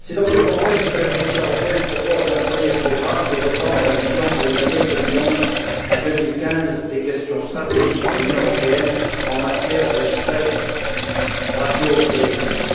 C'est dans ce contexte que la Commission européenne propose un premier programme développant la vision, pour les années 2011 à 2015, des questions stratégiques pour l'Union européenne en matière de spectre radioélectrique.